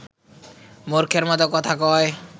মূর্খের মত কথা কয়